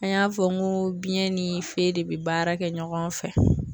An y'a fɔ n ko biɲɛn ni fee de bi baara kɛ ɲɔgɔn fɛ.